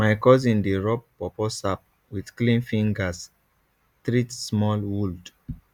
my cousin dey rub pawpaw sap with clean fingers treat small would